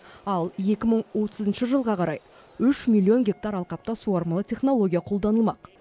ал екі мың отызыншы жылға қарай үш миллион гектар алқапта суармалы технология қолданылмақ